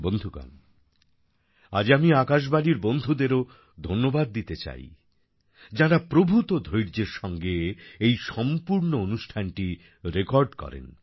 বন্ধুগণ আজ আমি আকাশবাণীর বন্ধুদেরও ধন্যবাদ দিতে চাই যাঁরা প্রভূত ধৈর্যের সঙ্গে এই সম্পূর্ন অনুষ্ঠানটি রেকর্ড করেন